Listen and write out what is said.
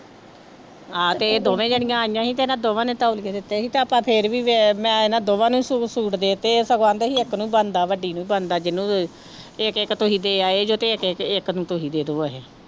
ਹਾਂ ਤੇ ਇਹ ਦੋਵੇਂ ਜਾਣੀਆਂ ਆਈਆਂ ਸੀ ਤੇ ਇਹਨਾਂ ਦੋਵਾਂ ਨੇ ਧਮਕੀਆਂ ਦਿੱਤੀਆਂ ਸੀ ਤੇ ਆਪਾਂ ਫਿਰ ਵੀ ਵੇ ਮੈਂ ਇਹਨਾਂ ਦੋਵਾਂ ਨੂੰ ਸੂ ਸੂਟ ਦੇ ਦਿੱਤੇ ਇੱਕ ਬਣਦਾ ਸੀ ਇੱਕ ਨੂੰ ਬਣਦਾ ਵੱਡੀ ਨੂੰ ਬਣਦਾ ਜਿਹਨੂੰ ਵੀ ਇੱਕ ਇੱਕ ਤੁਸੀਂ ਦੇ ਆਏ ਤੇ ਇੱਕ ਇੱਕ ਇੱਕ ਨੂੰ ਤੁਸੀਂ ਦੇ ਦਓ ਇਹ।